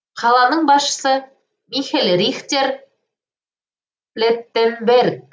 қаланың басшысы михель рихтер плеттенберг